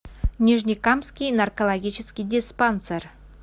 нижнекамский наркологический диспансер